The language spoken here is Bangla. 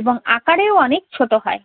এবং আকারেও আবার অনেক ছোট হয়।